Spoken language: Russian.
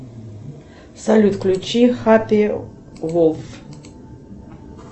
салют включи хаппи волф